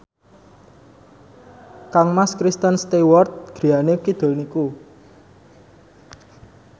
kangmas Kristen Stewart griyane kidul niku